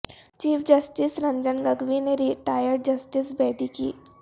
chief justice Ranjan Gogoi نے retired justice Bedi کی